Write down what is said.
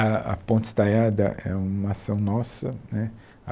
A a Ponte Estaiada é uma ação nossa né.